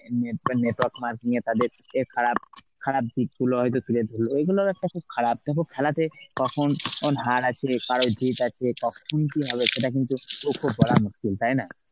net~ টা network marking এ তাদের খারাপ, খারাপ দিকগুলো হয়তো তুলে ধরল. এগুলোর একটা খুব খারাপ. দেখো খেলাতে কখন হার আছে মুশকিল তাইনা?